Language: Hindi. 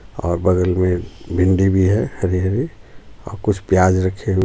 और बगल में भिंडी भी हैं हरी हरी और कुछ प्याज रखें --